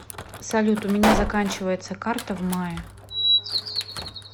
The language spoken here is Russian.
салют у меня заканчивается карта в мае